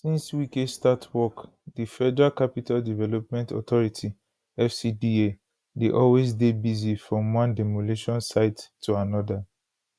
since wike start work di federal capital development authority fcda dey always dey busy from one demolition site to anoda